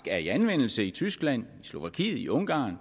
er i anvendelse i tyskland i slovakiet i ungarn og